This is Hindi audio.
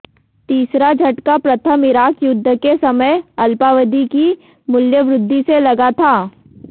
तीसरा झटका प्रथम इराक युद्घ के समय अल्पावधि की मूल्यवृद्घि से लगा था